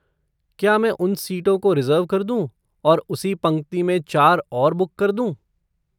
क्या मैं उन सीटों को रिज़र्व कर दूँ और उसी पंक्ति में चार और बुक कर दूँ?